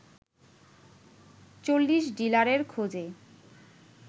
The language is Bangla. ৪০ ডিলারের খোঁজে